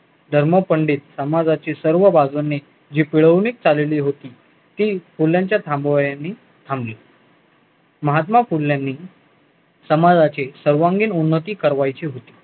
धर्मपंडित समाजाची सर्व बाजूनी हि पिळवणी चालली होती ती मूल्यांच्या थांबवण्याने थांबली महात्मा फुल्यानी समाजाच्या सर्वांगिक उन्नती कारवाईची होती